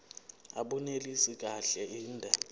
abunelisi kahle inde